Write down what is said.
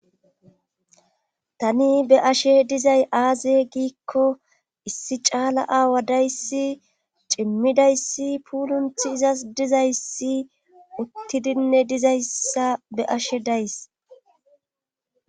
tani be'ashe dizay aaze giikko issi caala aawa dayssi cimmidayssi puulunthi izas dizayssi uttidinne dizayssa be'ashe days